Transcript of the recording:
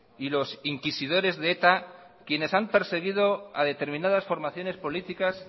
y los inquisidores de eta quienes han perseguido a determinadas formaciones políticas